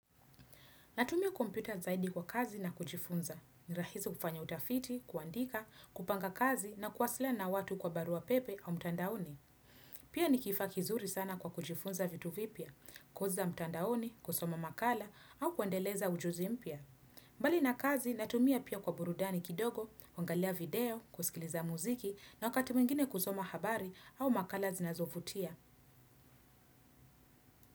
Natumia kompyuta zaidi kwa kazi na kujifunza. Nirahizi kufanya utafiti, kuandika, kupanga kazi na kuwasila na watu kwa barua pepe au mtandaoni. Pia nikifa kizuri sana kwa kujifunza vitu vipia, kuzi za mtandaoni, kusoma makala au kuandeleza ujuzi mpia. Mbali na kazi, natumia pia kwa burudani kidogo, wangalia video, kusikiliza muziki na wakati mingine kusoma habari au makala zinazovutia.